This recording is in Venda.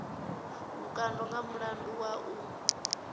vhukando nga mulandu wa u